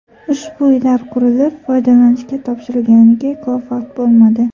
Ushbu uylar qurilib, foydalanishga topshirilganiga ko‘p vaqt bo‘lmadi.